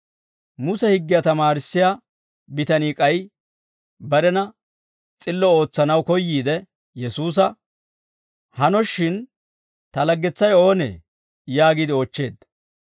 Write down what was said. Muse higgiyaa tamaarissiyaa bitanii k'ay barena s'illo ootsanaw koyyiide Yesuusa, «Hanoshshin, ta laggetsay oonee?» yaagiide oochcheedda.